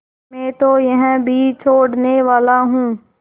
मैं तो यह भी छोड़नेवाला हूँ